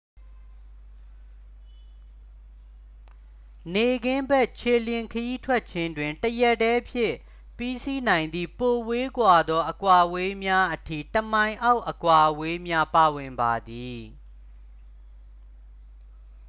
နေ့ခင်းဘက် ခြေလျင်ခရီးထွက်ခြင်းတွင် တစ်ရက်တည်းဖြင့် ပြီးစီးနိုင်သည့် ပိုဝေးကွာသော အကွာအဝေးများအထိ တစ်မိုင်အောက် အကွာအဝေးများ ပါဝင်ပါသည်